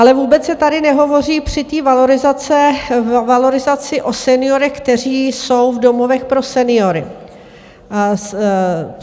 Ale vůbec se tady nehovoří při té valorizaci o seniorech, kteří jsou v domovech pro seniory.